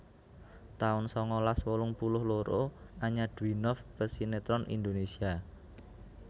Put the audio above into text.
taun sangalas wolung puluh loro Anya Dwinov pesinètron Indonesia